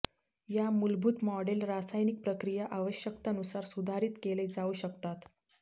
या मूलभूत मॉडेल रासायनिक प्रक्रिया आवश्यकता नुसार सुधारित केले जाऊ शकतात